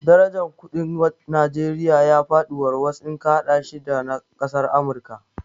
Darajar kuɗin Najeriya ya faɗi warwas in ka haɗa shi da na kasar Amurika